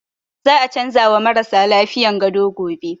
Za a canza wa marasa lafiyan gado gobe